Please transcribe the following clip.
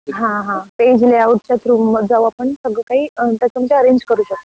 हा हा हा पेज लेआउट च्या थ्रु आपण करू शकतो